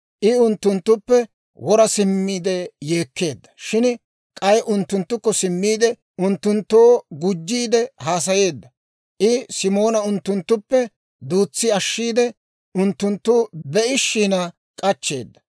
I unttunttuppe wora simmiide yeekkeedda; shin k'ay unttunttukko simmiide, unttunttoo gujjiide haasayeedda. I Simoona unttunttuppe duutsi ashshiide unttunttu be'ishin k'achcheeda.